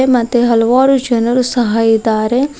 ಮತ್ತೆ ಹಲವಾರು ಜನರು ಸಹ ಇದ್ದಾರೆ.